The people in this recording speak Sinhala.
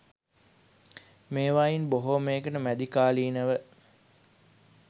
මේවායින් බොහෝමයකට මැදිකාලීනව